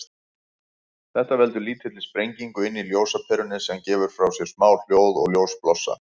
Þetta veldur lítilli sprengingu inni í ljósaperunni, sem gefur frá sér smá hljóð og ljósblossa.